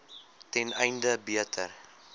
ten einde beter